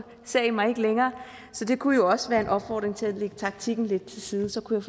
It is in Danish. ser i mig ikke længere så det kunne jo også være en opfordring til at lægge taktikken lidt til side og så kunne